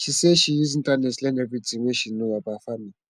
she sey she use internet learn everytin wey she know about farming